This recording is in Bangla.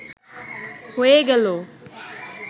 হয়ে গেল